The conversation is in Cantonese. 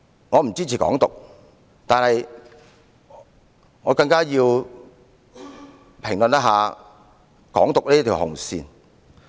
我不支持"港獨"，但我也要評論"港獨"這條紅線。